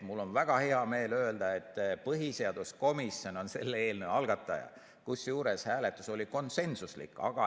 Mul on väga hea meel öelda, et põhiseaduskomisjon on selle eelnõu algataja, kusjuures hääletus oli konsensuslik.